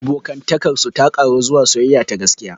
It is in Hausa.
Abokantakar su ta ƙaru zuwa soyayya ta gaskiya.